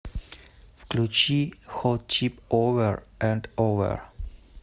включи хот чип овер энд овер